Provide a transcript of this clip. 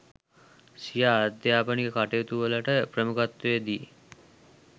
සිය අධ්‍යාපනික කටයුතු වලට ප්‍රමුඛත්වයක් දී